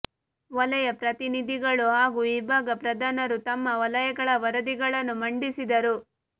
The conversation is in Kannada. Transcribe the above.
ವಲಯ ಪ್ರತಿನಿಧಿಗಳು ಹಾಗೂ ವಿಭಾಗ ಪ್ರಧಾನರು ತಮ್ಮ ವಲಯಗಳ ವರದಿಗಳನ್ನು ಮಂಡಿಸಿದರು